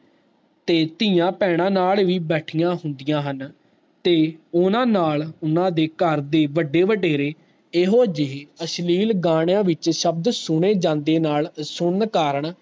ਤੇ ਤੀਆਂ ਪੈਣਾ ਨਾਲ ਵੀ ਬੈਠੀਆਂ ਹੁੰਦੀਆਂ ਹਨ ਤੇ ਓਹਨਾ ਨਾਲ ਊਨਾ ਦੀ ਕਰ ਦੇ ਬਡੇ ਬਡੇਰੇ ਇਹੋ ਜਿਹੇ ਅਸ਼ਲੀਲ ਗਾਣਿਆਂ ਵਿਚ ਸ਼ਬਦ ਸਣੇ ਜਾਂਦੇ ਨਾਲ ਸੁਨਣ ਕਾਰਨ